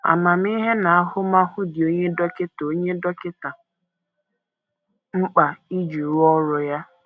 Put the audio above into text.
Amamihe na ahụmahụ dị onye dọkịta onye dọkịta mkpa iji rụọ ọrụ ya.